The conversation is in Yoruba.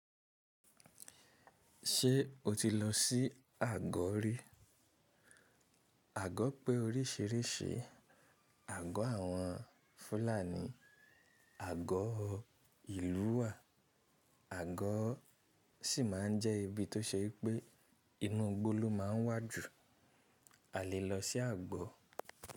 Ṣé o ti lọ sí àgọ̀ rí? Àgọ̀ pé oríṣìíríṣìí, àgọ̀ àwọn Fúlàní, àgọ̀ ìlú wà, àgọ̀ sì máa ń jẹ́ ibi tó ṣe wipé inú igbó ló máa ń wà jù. A lè lọ sí àgbọ.